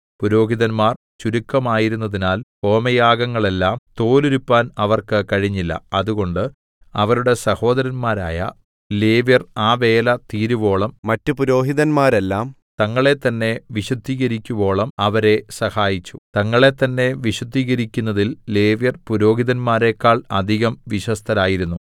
പുരോഹിതന്മാർ ചുരുക്കമായിരുന്നതിനാൽ ഹോമയാഗങ്ങളെല്ലാം തോലുരിപ്പാൻ അവർക്ക് കഴിഞ്ഞില്ല അതുകൊണ്ട് അവരുടെ സഹോദരന്മാരായ ലേവ്യർ ആ വേല തീരുവോളവും മറ്റ് പുരോഹിതന്മാരെല്ലാം തങ്ങളെത്തന്നെ വിശുദ്ധീകരിക്കുവോളവും അവരെ സഹായിച്ചു തങ്ങളെത്തന്നെ വിശുദ്ധീകരിക്കുന്നതിൽ ലേവ്യർ പുരോഹിതന്മാരെക്കാൾ അധികം വിശ്വസ്തരായിരുന്നു